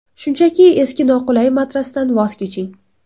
Shunchaki eski noqulay matrasdan voz keching!